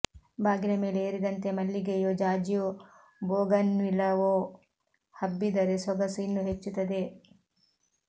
ಬಾಗಿಲ ಮೇಲೆ ಏರಿದಂತೆ ಮಲ್ಲಿಗೆಯೋ ಜಾಜಿಯೋ ಬೋಗನ್ವಿಲವೋ ಹಬ್ಬಿದ್ದರೆ ಸೊಗಸು ಇನ್ನೂ ಹೆಚ್ಚುತ್ತದೆ